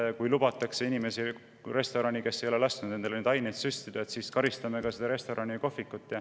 Ja kui restorani lubatakse inimesi, kes ei ole lasknud endale neid aineid süstida, siis karistame seda restorani ja kohvikut.